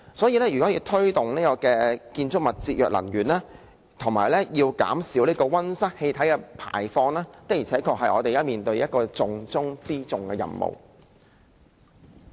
因此，推動建築物節約能源及減少溫室氣體排放，是我們現時面對的一個重中之重的任務。